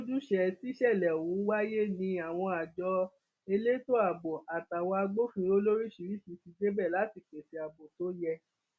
lójúṣe tíṣẹlẹ ọhún wáyé ni àwọn àjọ elétò ààbò àtàwọn agbófinró lóríṣiríṣii ti débẹ láti pèsè ààbò tó yẹ